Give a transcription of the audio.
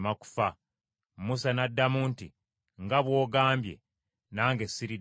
Musa n’addamu nti, “Nga bw’ogambye, nange siriddayo kukulaba.”